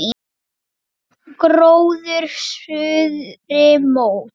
Lifnar gróður suðri mót.